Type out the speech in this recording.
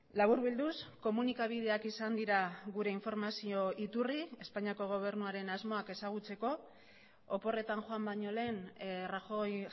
laburbilduz komunikabideak izan dira gure informazio iturri espainiako gobernuaren asmoak ezagutzeko oporretan joan baino lehen rajoy